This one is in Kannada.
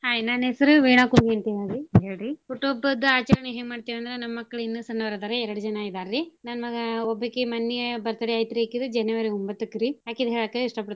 Hai ನನ್ ಹೆಸರು ವೀಣಾ ಕುಮ್ಮಿ ಅಂತೇಳಿ ರಿ, ಹೇಳ್ರಿ ಹುಟ್ಟು ಹಬ್ಬದ ಆಚರ್ಣೆಗ್ ಎನ್ ಮಾಡ್ತಿವ್ ಅಂದ್ರ ನಮ್ ಮಕ್ಳು ಇನ್ನೂ ಸಣ್ಣೋರ್ ಅದಾರಿ ಎರ್ಡ್ ಜನಾ ಇದಾರ್ರೀ ನನ್ ಮಗಾ ಒಬ್ಬಕಿ ಮನ್ನೇ birthday ಆಯ್ತ್ ರೀ ಅಕಿದ್ January ಒಂಬತ್ತಕ್ಕ್ ರಿ. ಅಕಿದ್ ಹೇಳಾಕ ಇಸ್ಟಾ ಪಡ್ತಿನ್ರಿ.